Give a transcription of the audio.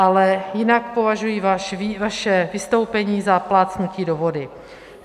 Ale jinak považuji vaše vystoupení za plácnutí do vody.